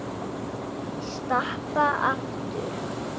Stappa aftur.